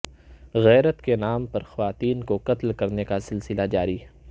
غیرت کے نام پر خواتین کو قتل کرنے کا سلسلہ جاری